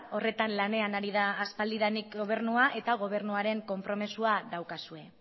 horretan lanean ari da aspaldidanik gobernua eta gobernuaren konpromezua daukazue